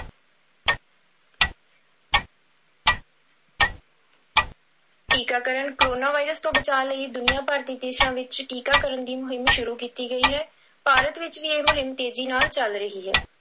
ਟੀਕਾਕਰਨ, corona virus ਤੋਂ ਬਚਾਅ ਲਈ ਦੁਨੀਆਂਭਰ ਦੇ ਦੇਸਾਂ ਵਿੱਚ ਟੀਕਾਕਰਨ ਦੀ ਮੁਹਿੰਮ ਸ਼ੁਰੂ ਕੀਤੀ ਗਈ ਹੈ, ਭਾਰਤ ਵਿੱਚ ਵੀ ਇਹ ਮੁਹਿੰਮ ਤੇਜ਼ੀ ਨਾਲ ਚੱਲ ਰਹੀ ਹੈ।